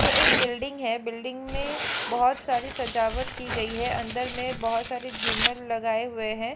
ये एक बिल्डिंग है बिल्डिंग में बहोत सारी सजावट की गई है अंदर में बहोत सारे झूमर लगाए हुए है।